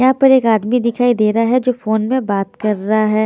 यहाँ पर एक आदमी दिखाई दे रहा है जो फोन में बात कर रहा है।